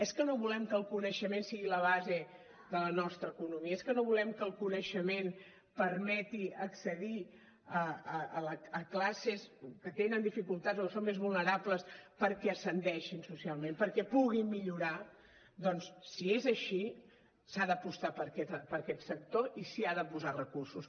és que no volem que el coneixement sigui la base de la nostra economia és que no volem que el coneixement permeti accedir a classes que tenen dificultats o que són més vulnerables perquè ascendeixin socialment perquè puguin millorar doncs si és així s’ha d’apostar per aquest sector i s’hi ha de posar recursos